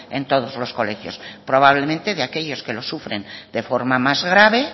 en todos los colegios probablemente de aquellos que lo sufren de forma más grave